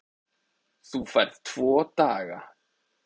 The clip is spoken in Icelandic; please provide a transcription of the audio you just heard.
Þú færð tvo daga.